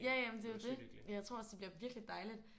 Ja ja men det er jo det. Jeg tror også det bliver virkelig dejligt